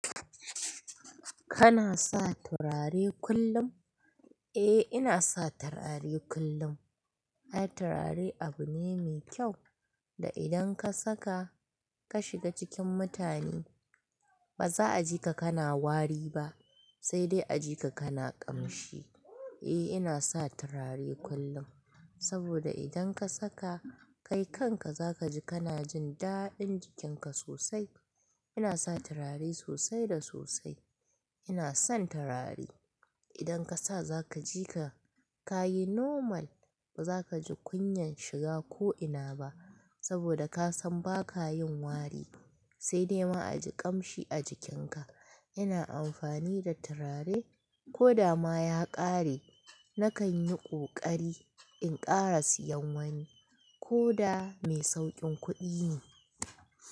Kana sa turare kullum? Eh, ina sa turare kullum. Ai, turare abu ne mai kyau da idan ka saka ka shiga cikin mutane ba za a ji ka kana wari ba, sai dai a ji ka kana ƙamshi. Eh, ina sa turare kullum saboda idan ka saka, kai kanka za ka ji kana jin daɗin jikinka sosai. Ina sa turare sosai da sosai. Ina son turare. Idan ka sa za ka ji ka yi normal, ba za ka ji kunyan shiga ko ina ba saboda ka san ba ka yin wari sai dai ma a ji ƙamshi a jikinka. Ina amfani da turare, ko da ma ya ƙare nakan yi ƙoƙari, in ƙara siyan wani ko da mai sauƙin kuɗi ne.